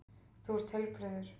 Þú ert heilbrigður.